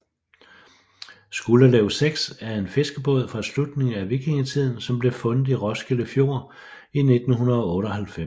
Skuldelev 6 er en fiskebåd fra slutningen vikingetiden som blev fundet i Roskilde Fjord i 1998